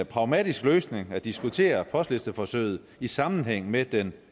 pragmatisk løsning at diskutere postlisteforsøget i sammenhæng med den